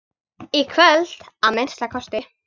Í kvöld, að minnsta kosti.